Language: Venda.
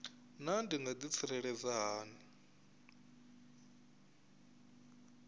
naa ndi nga ḓitsireledza hani